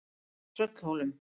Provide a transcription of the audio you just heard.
Tröllhólum